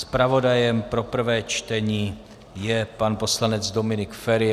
Zpravodajem pro prvé čtení je pan poslanec Dominik Feri.